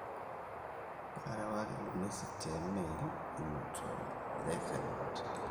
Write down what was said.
kaarewaki ilo message te email ino too ildakikani kutik